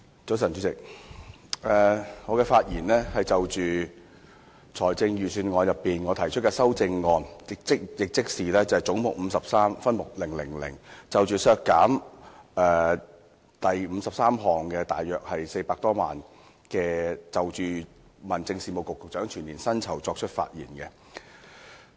早晨，主席，我就着財政預算案提出修正案，議決為削減分目000而將總目53削減大約400多萬元，即削減大約相當於民政事務局局長的全年薪酬開支。